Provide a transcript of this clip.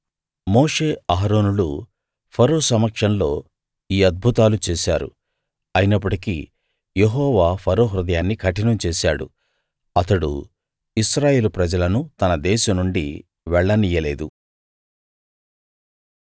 మోషే అహరోనులు ఫరో సమక్షంలో ఈ అద్భుతాలు చేశారు అయినప్పటికీ యెహోవా ఫరో హృదయాన్ని కఠినం చేశాడు అతడు ఇశ్రాయేలు ప్రజలను తన దేశం నుండి వెళ్ళనియ్యలేదు